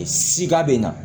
Sika bɛ na